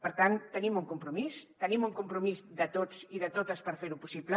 per tant tenim un compromís tenim un compromís de tots i de totes per fer ho possible